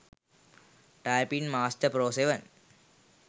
typing master pro 7